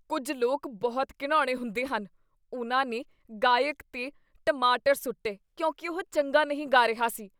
ਕੁੱਝ ਲੋਕ ਬਹੁਤ ਘਿਣਾਉਣੇ ਹੁੰਦੇ ਹਨ। ਉਨ੍ਹਾਂ ਨੇ ਗਾਇਕ 'ਤੇ ਟਮਾਟਰ ਸੁੱਟੇ ਕਿਉਂਕਿ ਉਹ ਚੰਗਾ ਨਹੀਂ ਗਾ ਰਿਹਾ ਸੀ।